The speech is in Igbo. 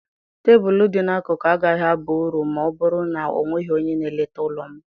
Tebụl dị n'akụkụ agaghị aba uru ma ọ bụrụ na ọ nweghị onye na-eleta ụlọ m.